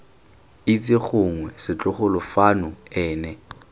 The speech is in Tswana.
itse gongwe setlogolo fano ene